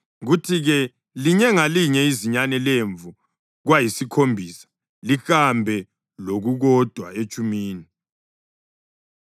kuthi-ke linye ngalinye izinyane lemvu kwayisikhombisa, lihambe lokukodwa etshumini.